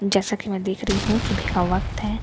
जैसा कि मैं देख रही हूं सुबह का वक्त है।